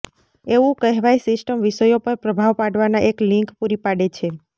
એવું કહેવાય સિસ્ટમ વિષયો પર પ્રભાવ પાડવાના એક લિંક પૂરી પાડે છે